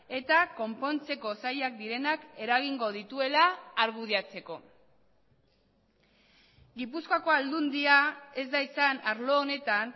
eta konpontzeko zailak direnak eragingo dituela argudiatzeko gipuzkoako aldundia ez da izan arlo honetan